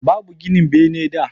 Babu ginin bene da